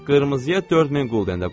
Hə, qırmızıya 4000 qulden də qoy.